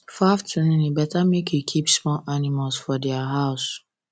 for afternoon e better make you keep small animals for dia house